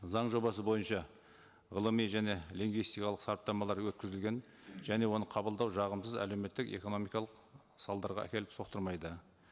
заң жобасы бойынша ғылыми және лингвистикалық сараптамалар өткізілген және оны қабылдау жағын біз әлеуметтік экономикалық салдарға әкеліп соқтырмайды